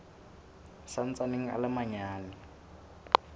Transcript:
sa ntsaneng a le manyane